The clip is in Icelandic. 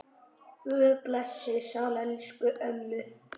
Guð blessi sál elsku ömmu.